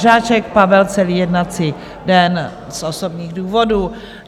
Žáček Pavel - celý jednací den z osobních důvodů.